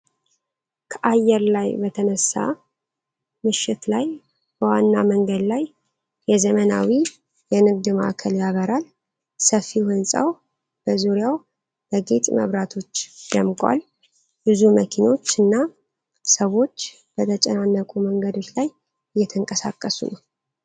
ከአየር ላይ በተነሳ ምሽት ላይ፣ በዋና መንገድ ላይ የዘመናዊ የንግድ ማዕከል ያበራል። ሰፊው ህንጻው በዙሪያው በጌጥ መብራቶች ደምቋል፤ ብዙ መኪኖች እና ሰዎች በተጨናነቁ መንገዶች ላይ እየተንቀሳቀሱ ነወ።